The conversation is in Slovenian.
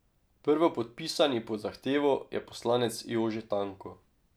Prvopodpisani pod zahtevo je poslanec Jože Tanko.